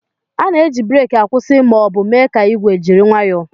A na-eji breeki akwụsị ma ọ bụ mee ka igwe jiri nwayoo